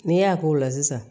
N'i y'a k'o la sisan